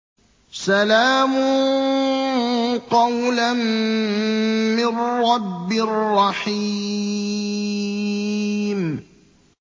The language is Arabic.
سَلَامٌ قَوْلًا مِّن رَّبٍّ رَّحِيمٍ